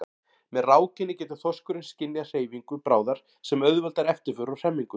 Með rákinni getur þorskurinn skynjað hreyfingu bráðar sem auðveldar eftirför og hremmingu.